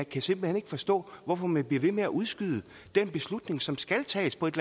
kan simpelt hen ikke forstå hvorfor man bliver ved med at udskyde den beslutning som skal tages på et